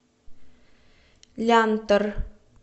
лянтор